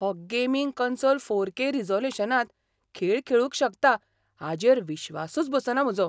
हो gaming console four K रिझोल्यूशनांत खेळ खेळूंक शकता हाचेर विश्वासच बसना म्हजो.